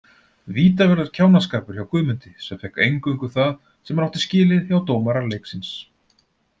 Vítaverður kjánaskapur hjá Guðmundi sem fékk eingöngu það sem hann átti skilið hjá dómara leiksins.